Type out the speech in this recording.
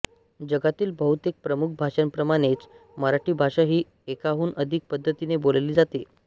जगातील बहुतेक प्रमुख भाषांप्रमाणेच मराठी भाषाही एकाहून अधिक पद्धतींनी बोलली जाते